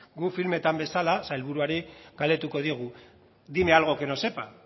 guk filmetan bezala sailburuari galdetuko diogu dime algo que no sepa